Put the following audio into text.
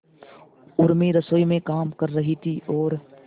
उर्मी रसोई में काम कर रही थी और